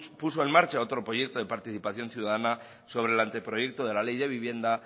puso en marcha otro proyecto de participación ciudadana sobre el anteproyecto de la ley de vivienda